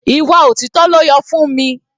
Ìwà òtítọ́ ló yọ Funmi.